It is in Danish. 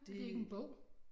Det ikke en bog?